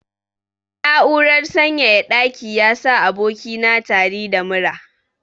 Na'urar sanyaya ɗaki yasa aboki na tari da mura.